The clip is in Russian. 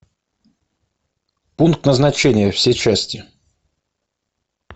пункт назначения все части